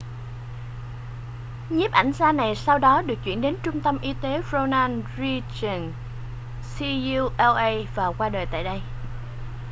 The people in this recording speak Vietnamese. nhiếp ảnh gia này sau đó được chuyển đến trung tâm y tế ronald reagan ucla và qua đời tại đây